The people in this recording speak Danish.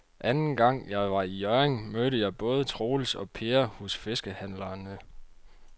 Anden gang jeg var i Hjørring, mødte jeg både Troels og Per hos fiskehandlerne.